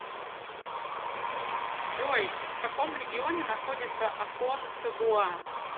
джой в каком регионе находится аконкагуа